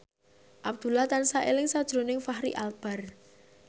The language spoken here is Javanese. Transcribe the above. Abdullah tansah eling sakjroning Fachri Albar